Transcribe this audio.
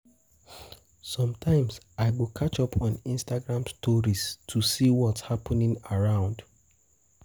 Sometimes, I go catch up on Instagram stories to Instagram stories to see what’s happening around.